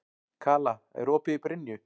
Kala, er opið í Brynju?